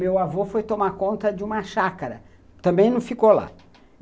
Meu avô foi tomar conta de uma chácara, também não ficou lá.